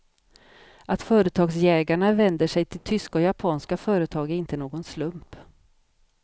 Att företagsjägarna vänder sig till tyska och japanska företag är inte någon slump.